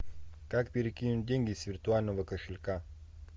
как перекинуть деньги с виртуального кошелька